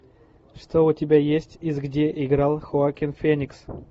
что у тебя есть из где играл хоакин феникс